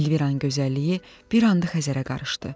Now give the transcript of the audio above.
Elviranın gözəlliyi bir anda Xəzərə qarışdı.